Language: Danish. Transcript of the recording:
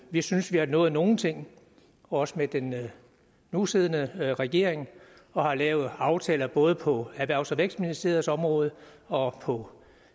vi synes vi har nået nogle ting også med den nusiddende regering og har lavet aftaler både på erhvervs og vækstministeriets område og på